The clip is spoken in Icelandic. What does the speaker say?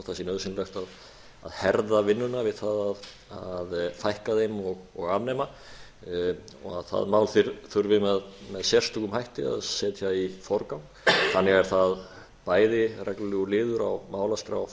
sé nauðsynlegt að herða vinnuna við það að fækka þeim og afnema og það mál þurfi með sérstökum hætti að setja í forgang þannig er það bæði reglulegur liður á málaskrá